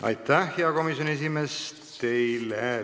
Aitäh, hea komisjoni esimees!